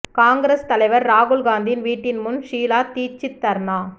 காங்கிரஸ் தலைவர் ராகுல் காந்தியின் வீட்டின் முன் ஷீலா தீட்சித் தர்னா